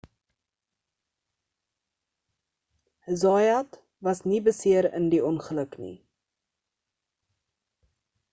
zayat was nie beseer in die ongeluk nie